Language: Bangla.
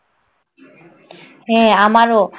হ্যাঁ আমারও।